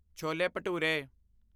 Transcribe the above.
chole bhature